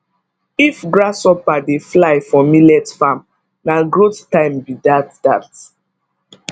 if grasshopper dey fly for millet farm na growth time be dat dat